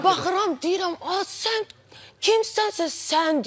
Sonra baxıram, deyirəm, az, sən kimsənsə, sən deyirsən.